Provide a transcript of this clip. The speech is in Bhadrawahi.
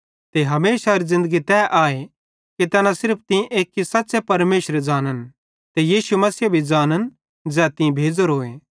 ते हमेशारी ज़िन्दगी तै आए कि तैना सिर्फ तीं एक्की सच़्च़े परमेशरे ज़ानन् ते यीशु मसीहे भी ज़ानन् ज़ै तीं भेज़ोरोए